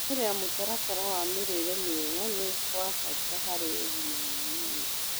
Kũrũmĩrĩra mũtaratara wa mĩrĩre mĩega nĩ gwa bata harĩ ũgima wa mwĩrĩ